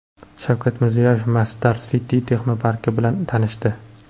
Shavkat Mirziyoyev Masdar City texnoparki bilan tanishdi.